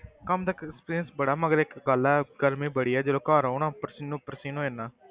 ਕੰਮ ਦਾ experience ਬੜਾ ਮਗਰ ਇੱਕ ਗੱਲ ਹੈ, ਗਰਮੀ ਬੜੀ ਹੈ ਜਦੋਂ ਘਰ ਆਉਣਾ ਪਸੀਨੋ ਪਸੀਨ ਹੋ ਜਾਨਾ।